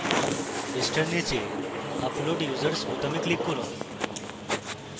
পৃষ্ঠার নীচে upload users বোতামে click করুন